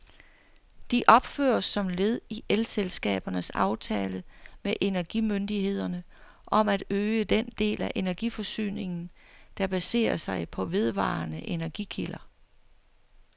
De opføres som led i elselskabernes aftale med energimyndighederne om at øge den del af energiforsyningen, der baserer sig på vedvarende energikilder.